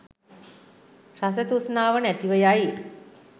රස තෘෂ්ණාව නැතිව යයි.